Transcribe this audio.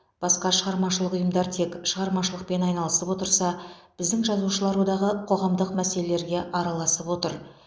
басқа шығармашылық ұйымдар тек шығармашылықпен айналысып отырса біздің жазушылар одағы қоғамдық мәселелерге араласып отыр